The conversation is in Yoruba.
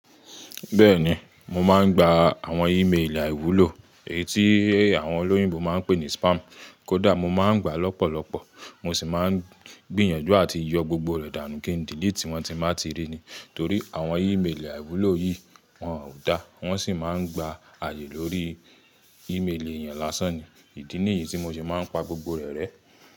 Bẹ́ẹ̀ni, mo máa ń gba àwọn e-mail àìwúlò, èyí tí àwọn olóyìnbó máa ń pè ní spam. Kódà mo máa ń gba lọ́pọ̀lọ́pọ̀, mo sì máa ń gbìyànjú àti yọ gbogbo rẹ̀ dànù kí n delete wọ́n tí má tí rí ni. Torí àwọn e-mail àìwúlò yìí wọn kò dá, wọ́n sì máa ń gba ààyè lórí e-mail èèyàn lásán ni. Ìdí nìyí tí mo sì máa ń pa gbogbo rẹ̀ rẹ́.